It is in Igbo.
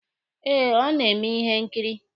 Eh, ọ na-eme ihe nkiri.